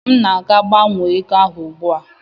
M na-aga gbanwee ego ahụ ugbu a.